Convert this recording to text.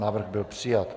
Návrh byl přijat.